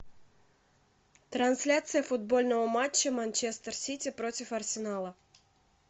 трансляция футбольного матча манчестер сити против арсенала